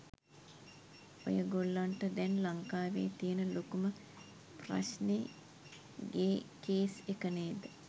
ඔයගොල්ලන්ට දැන් ලංකාවේ තියෙන ලොකුම ප්‍රශ්නේ ගේ කේස් එක නේද?